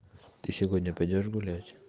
ты сегодня пойдёшь гулять